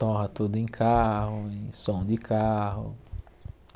Torra tudo em carro, em som de carro.